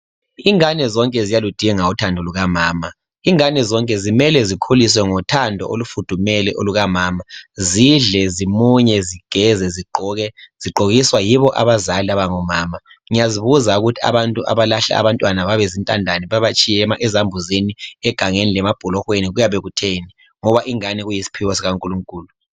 ingane zonke ziyaludinga uthando lukamama ingane zonke kumele zikhuluswe ngothando olufudumele olukamama zidle zimunye zigeze zigqoke zogqkiswa yibo abazali abangomama ngiyazibuza abalahla abantwana babezintandane ezambuzini egangeni lemabholohweni kuyabe kutheni ngoba ingane kuyisiphiwo sika Nkulunkulu